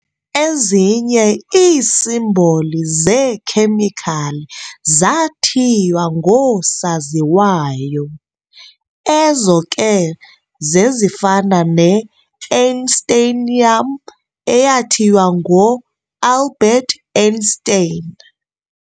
Ezinye iisimboli zeekhemikhali zaathiywa ngoosoziwayo, ezo ke zezifana ne-einsteinium, eyathiywa ngoAlbert Einstein.